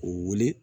U wuli